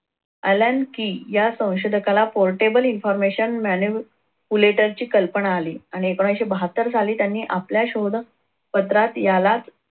allen key या संशोधकाला portable information manupulator ची कल्पना आली आणि एकोणविशे बहात्तर साली त्यांनी आपल्या पत्रात यालाच